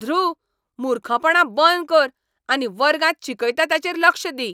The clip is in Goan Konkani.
ध्रुव, मुर्खपणां बंद कर आनी वर्गांत शिकयता ताचेर लक्ष दी!